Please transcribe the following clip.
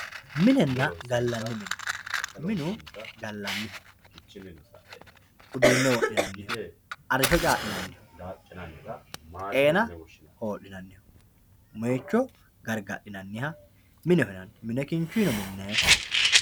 Minenna galanni minne, minu galaniho uduune wodhinaniho, arisho caalinaniho xeenna holinaniho, moyyicho garigadhinaniha mineho yinanni, mine kinchuyino minayi